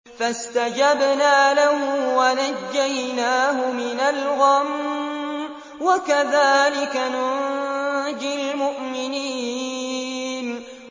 فَاسْتَجَبْنَا لَهُ وَنَجَّيْنَاهُ مِنَ الْغَمِّ ۚ وَكَذَٰلِكَ نُنجِي الْمُؤْمِنِينَ